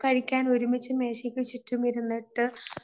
കഴിക്കാൻ ഒരുമിച്ച് മേശയ്ക്ക് ചുറ്റും ഇരുന്നിട്ട്